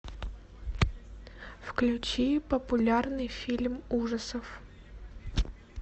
включи популярный фильм ужасов